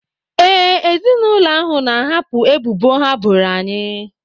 Ee, ezinụlọ ahụ na-ahapụ ebubo ha boro anyị.